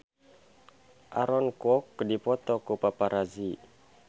Aaron Kwok dipoto ku paparazi